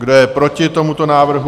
Kdo je proti tomuto návrhu?